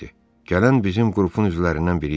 Gələn bizim qrupun üzvlərindən biri idi.